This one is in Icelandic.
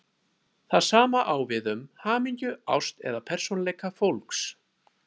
Það sama á við um hamingju, ást eða persónuleika fólks.